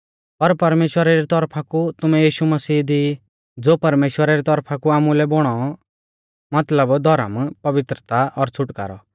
पर परमेश्‍वरा री तौरफा कु तुमैं यीशु मसीह दी ई ज़ो परमेश्‍वरा री तौरफा कु आमुलै बौणौ मतलब धौर्म पवित्रता और छ़ुटकारौ